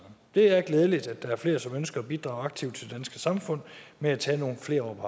det er glædeligt at der er flere som ønsker at bidrage aktivt til det danske samfund ved at tage nogle flere år på